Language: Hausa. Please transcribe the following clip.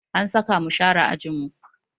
An saka mu share ajinmu